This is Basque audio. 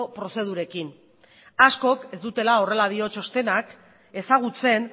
prozedurekin askok ez dutela horrela dio txostenak ezagutzen